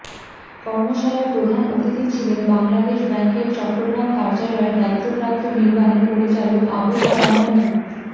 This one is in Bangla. কর্মশালায় প্রধান অতিথি ছিলেন বাংলাদেশ ব্যাংকের চট্টগ্রাম কার্যালয়ের দায়িত্বপ্রাপ্ত নির্বাহী পরিচালক আবু ফরাহ মো